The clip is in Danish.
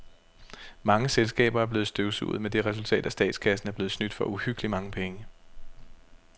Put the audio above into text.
Mange selskaber er blevet støvsuget med det resultat, at statskassen er blevet snydt for uhyggeligt mange penge.